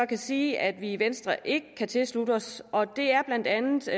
kan sige at vi i venstre ikke kan tilslutte os og det er blandt andet